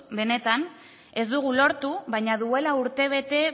benetan ez dugu lortu baina duela urte bete